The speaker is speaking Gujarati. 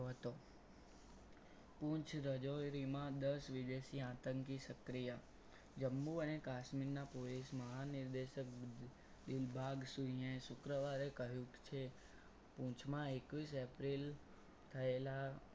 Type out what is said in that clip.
પૂછ રજોરીમાં દસ વિદેશી આતંકી સક્રિય જમ્બુ અને કાશ્મીરના police મહા નિર્દેશક દીલભાગ સુઇએ શુક્રવારે કહ્યું છે પૂંછમાં એકવીસ એપ્રિલ થયેલા